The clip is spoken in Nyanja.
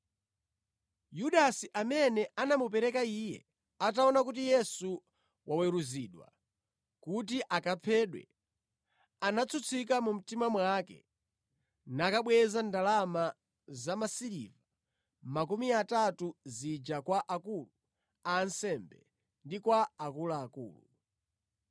Yudasi, amene anamupereka Iye, ataona kuti Yesu waweruzidwa kuti akaphedwe, anatsutsika mu mtima mwake nakabweza ndalama zamasiliva makumi atatu zija kwa akulu a ansembe ndi kwa akuluakulu.